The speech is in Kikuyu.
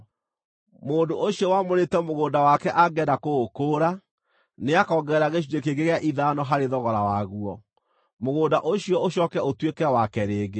Mũndũ ũcio wamũrĩte mũgũnda wake angĩenda kũũkũũra, nĩakongerera gĩcunjĩ kĩngĩ gĩa ithano harĩ thogora waguo, mũgũnda ũcio ũcooke ũtuĩke wake rĩngĩ.